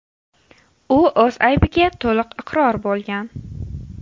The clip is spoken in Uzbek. U o‘z aybiga to‘liq iqror bo‘lgan.